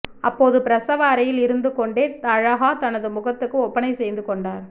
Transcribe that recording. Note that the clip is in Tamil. அப்போது பிரசவ அறையில் இருந்துகொண்டே அலாஹா தனது முகத்துக்கு ஒப்பனை செய்து கொண்டார்